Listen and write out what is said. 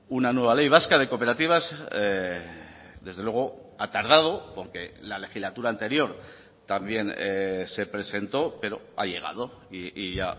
una nueva ley vasca de cooperativas desde luego ha tardado porque la legislatura anterior también se presentó pero ha llegado y ya